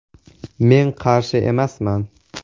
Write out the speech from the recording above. Men qarshi emasman.